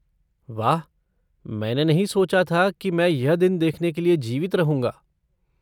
वाह, मैंने नहीं सोचा था कि मैं यह दिन देखने के लिए जीवित रहूँगा।